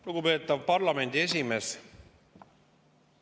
Lugupeetav parlamendi esimees!